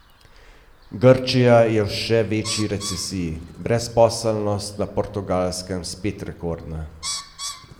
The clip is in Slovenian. Grčija je v še večji recesiji, brezposelnost na Portugalskem spet rekordna.